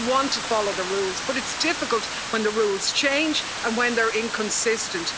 People want to follow the rules, but it's difficult when the rules change and when they are inconsistent.